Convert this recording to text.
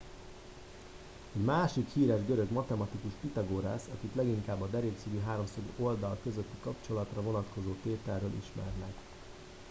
egy másik híres görög a matematikus pitagórasz akit leginkább a derékszögű háromszög oldalai közötti kapcsolatra vonatkozó tételéről ismernek